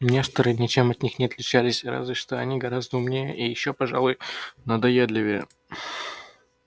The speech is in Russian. несторы ничем от них не отличались разве что они гораздо умнее и ещё пожалуй надоедливее